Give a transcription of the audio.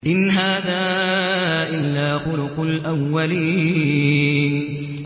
إِنْ هَٰذَا إِلَّا خُلُقُ الْأَوَّلِينَ